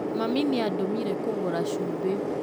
Mami nĩandũmire kũgũra cumbĩ